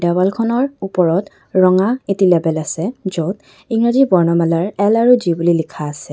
দেৱালখনৰ ওপৰত ৰঙা এটি লেবেল আছে য'ত ইংৰাজী বৰ্ণমালাৰ এল আৰু জি বুলি লিখা আছে।